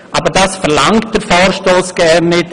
Aber das verlangt der Vorstoss gar nicht zwingend.